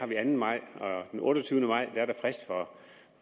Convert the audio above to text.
den anden maj og den otteogtyvende maj er der frist for